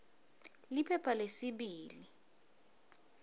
liphepha lesibili p